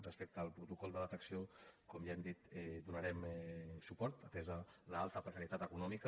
respecte al protocol de detecció com ja hem dit hi donarem suport atesa l’alta precarietat econòmica